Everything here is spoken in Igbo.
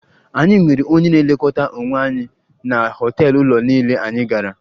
Anyị nwere onye na-elekọta onwe anyị na họtel ụlọ niile anyị gara